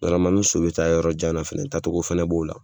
ni so bɛ taa yɔrɔ jan na fɛnɛ taa cogo fɛnɛ b'o la.